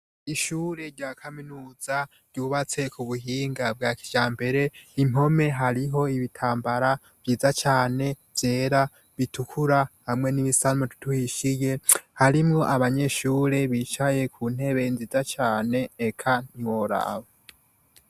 Ishure rya kaminuza ryubatse kubuhinga bwa kijambere, impome hariho ibitambara vyiza cane vyera, bitukura hamwe n’ibisa nk’umututu uhishiye harimwo abanyeshure bicaye ku ntebe nziza cane eka ntiworaba.